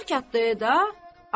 Xudayar hərəkətdəydi də.